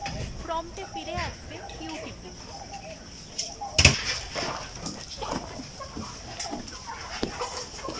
prompt এ ফিরে আসতে q টিপুন